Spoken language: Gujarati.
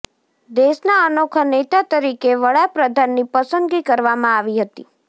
દેશના અનોખા નેતા તરીકે વડા પ્રધાનની પસંદગી કરવામાં આવી હતી